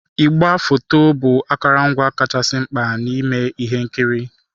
Igwefoto bụ akụrụngwa kachasị mkpa n'ime ihe nkiri.